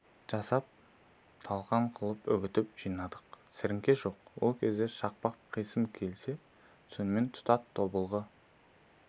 жасап талқан қып үгітіп жинадық сіріңке жоқ ол кезде шақпақ қисыны келсе сонымен тұтат тобылғы